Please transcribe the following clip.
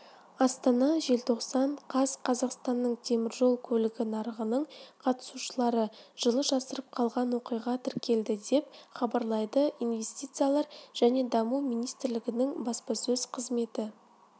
астана желтоқсан қаз қазақстанның теміржол көлігі нарығының қатысушылары жылы жасырып қалған оқиға тіркелді деп хабарлайды инвестициялар және даму министрлігінің баспасөз қызметі